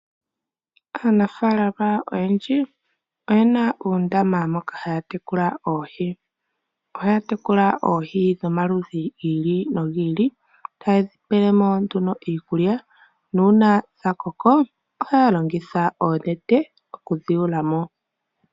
Aanafalama oyendji oyena uundama moka haya tekula oohi, ohaya tekula oohi dho maludhi giili no gili, ta yedhi peelemo nduno iikulya, nuuna dha koko, ohaya longitha oonete oku dhi yuulamo.